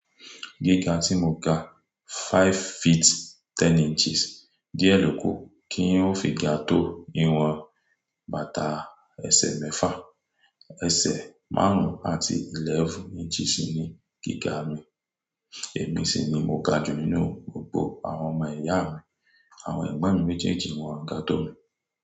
Gíga tí mo ga five feet ten inches, díẹ̀ ló kù kí ń ò fi ga tó ìwọ̀n bàtà ẹsẹ̀ mẹ́fà, ẹsẹ̀ márùn-ún àti eleven inches ni gíga mi, èmi sì ni mo ga jù nínú gbogbo àwọn ọmọ ìyá mi, àwọn ẹ̀gbọ́n mi méjèèjì ni wọ́n ga tó mi.